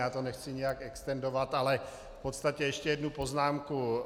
Já to nechci nějak extendovat, ale v podstatě ještě jednu poznámku.